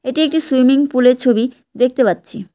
এটি একটি swimming pool -এর ছবি দেখতে পাচ্ছি।